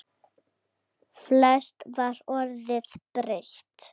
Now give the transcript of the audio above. Flest var orðið breytt.